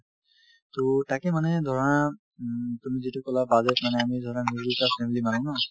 so, তাকে মানে ধৰা উম তুমি যিটো ক'লা বাজেট মানে আমি ধৰা middle class family ৰ মানুহ ন